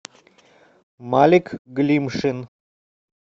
малик глимшин